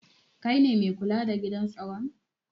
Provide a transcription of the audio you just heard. Kai ne mai kula da gidan staron?